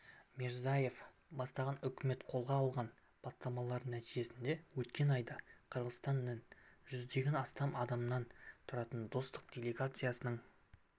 мирзиеев бастаған үкімет қолға алған бастамалар нәтижесінде өткен айда қырғызстаннан жүзден астам адамнан тұратын достық делегациясының